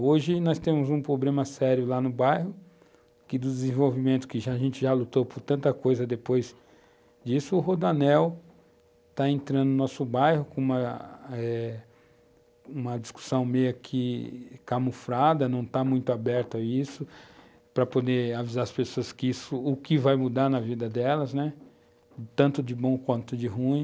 Hoje nós temos um problema sério lá no bairro, que do desenvolvimento, que a gente já lutou por tanta coisa depois disso, o Rodanel está entrando no nosso bairro com uma uma discussão meio aqui camuflada, não está muito aberta a isso, para poder avisar as pessoas o que vai mudar na vida delas, né, tanto de bom quanto de ruim.